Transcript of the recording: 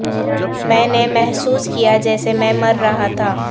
میں نے محسوس کیا جیسے میں مر رہا تھا